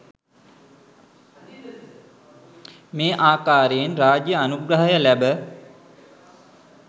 මේ ආකාරයෙන් රාජ්‍ය අනුග්‍රහය ලැබ